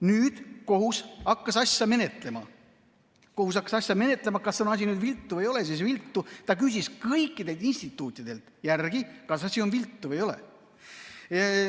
Nüüd hakkas kohus asja menetlema, kas on asi viltu või ei ole viltu, ta küsis kõikidelt instituutidelt, kas asi on viltu või ei ole.